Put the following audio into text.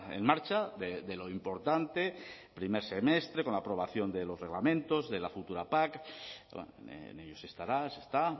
en marcha de lo importante primer semestre con la aprobación de los reglamentos de la futura pac en ellos se estará se está